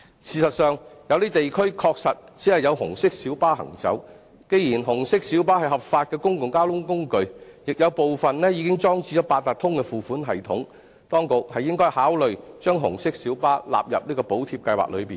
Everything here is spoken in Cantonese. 事實上，有些地區確實只有紅色小巴行走，既然紅色小巴是合法的公共交通工具，亦有部分已經裝置八達通付款系統，當局應該考慮將紅色小巴納入補貼計劃內。